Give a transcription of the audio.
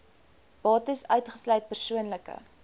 bates uitgesluit persoonlike